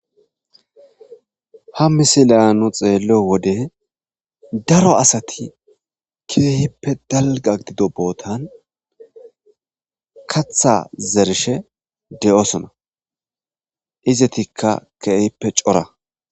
Ha missilliya nu xelliyo wode daro asati kehippe dalgga gido bottan kaththa zerishshe dossona izetikka kehippe cora.